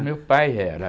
O meu pai era.